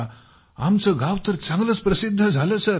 आमचे गाव तर चांगलेच प्रसिद्ध झाले सर